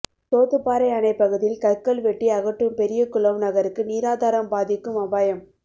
சோத்துப்பாறை அணை பகுதியில் கற்கள் வெட்டி அகற்றம்பெரியகுளம் நகருக்கு நீராதாரம் பாதிக்கும் அபாயம்